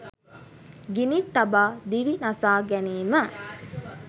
ගිනි තබා දිවි නසා ගැනීම